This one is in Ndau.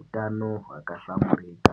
utano hwakahlamburika.